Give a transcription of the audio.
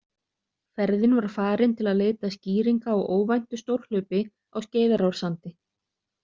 Ferðin var farin til að leita skýringa á óvæntu stórhlaupi á Skeiðarársandi.